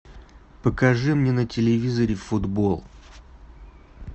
покажи мне на телевизоре футбол